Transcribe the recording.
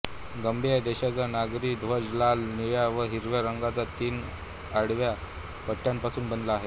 गांबिया देशाचा नागरी ध्वज लाल निळ्या व हिरव्या रंगांच्या तीन आडव्या पट्ट्यांपासून बनला आहे